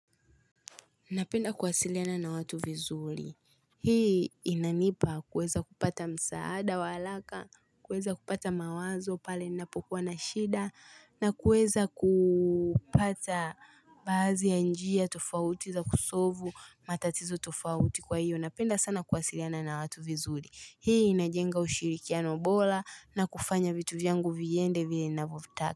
Napenda kusiliana na watu vizuri. Hii inanipa kuweza kupata msaada wa haraka, kuweza kupata mawazo pale inapokuwa na shida, na kweza kupata badhi ya njia, tufauti za kusovu, matatizo tufauti kwa hiyo. Napenda sana kwasiliana na watu vizuli. Hii inajenga ushirikiano bora na kufanya vitu vyangu viende vile ninavyotaka.